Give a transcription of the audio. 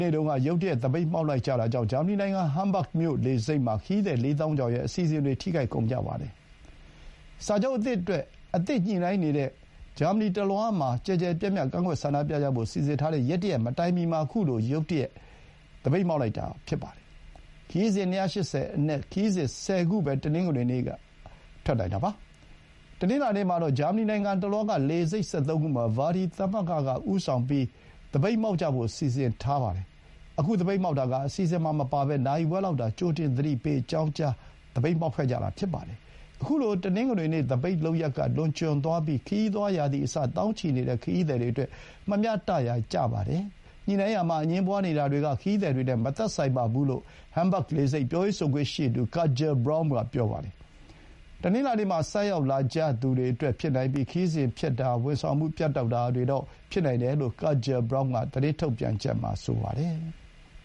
နေ့တုန်းက ရုတ်တရက် သပိတ်မှောက်လိုက်ကြတာကြောင့် ဂျာမနီနိုင်ငံ ဟမ်းဘဂ်မြို့ လေဆိပ်မှာ ခရီးသည် ၄ သောင်းကျော်ရဲ့ အစီအစဥ်တွေ ထိခိုက်ကုန်ကြပါတယ်။ စာချုပ်အသစ်အတွက် ထပ်မံ ညှိုနှိုင်းနေတဲ့ အတောအတွင်း ဂျာမနီတလွှားမှာ ကျယ်ကျယ်ပြန့်ပြန့် ကန့်ကွက်ဆန္ဒပြကြဖို့ စီစဥ်ထားတဲ့ရက် တရက်မတိုင်မီမှာ ခုလို ရုတ်ရက် သပိတ်မှောက်လိုက်ကြတာ ဖြစ်ပါတယ်။ ခရီးစဥ် ၂၈၀ အနက် ခရီးစဥ် ၁၀ ခုပဲ တနင်္ဂနွေနေ့က ထွက်နိုင်တာပါ။ တနင်္လာနေ့မှာတော့ ဂျာမနီနိုင်ငံတလွှားက လေဆိပ် ၁၃ ခုမှာ ver.di သမဂ္ဂက ဦးဆောင်ပြီး သပိတ်မှောက်ကြဖို့ စီစဥ်ထားတာပါ။ ခု သပိတ်မှောက်တာက အစီအစဥ်မှာ မပါဘဲ နာရီဝက်သာ ကြိုတင် သတိပေး အကြောင်းကြား မှောက်ခဲ့ကြတာ ဖြစ်ပါတယ်။ ခုလို တနင်္ဂနွေနေ့ သပိတ်လုပ်ရပ်က လွန်ကျွံသွားပြီး ခရီးသွား ရာသီအစ သောင်းချီနေတဲ့ ခရီးသည်တွေအတွက် မမျှတရာ ကျပါတယ်။ ညှိုနှိုင်းရာမှာ အငြင်းပွါးနေတာတွေက ခရီးသည်တွေ နဲ့ မသက်ဆိုင်ပါဘူးလို့ ဟမ်းဘဂ်လေဆိပ် ပြောရေးဆိုခွင့်ရှိသူ Katja Bromm က ပြောပါတယ်။ တနင်္လာနေ့မှာ ဆိုက်ရောက်လာကြသူတွေအတွက် ဖြစ်နိုင်ပြီး ခရီးစဥ်ဖျက်တာ ဝန်ဆောင်မှု ပြတ်တောက်တာတွေတော့ ဖြစ်နိုင်တယ်လို့ Katja Bromm က သတင်းထုတ်ပြန်ချက်မှာ ပြောပါတယ်။